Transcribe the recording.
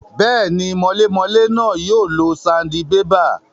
Bẹ́ẹ̀ni, mọlémọlé náà yóò lo sandibébà